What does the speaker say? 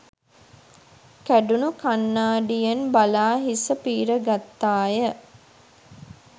කැඩුණු කණ්ණාඩියෙන් බලා හිස පීර ගත්තාය